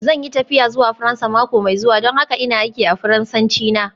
Zan yi tafiya zuwa Faransa mako mai zuwa don haka ina aiki a Faransanci na.